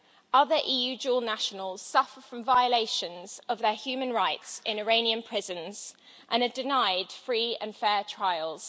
Other EU dual nationals suffer from violations of their human rights in Iranian prisons and are denied free and fair trials.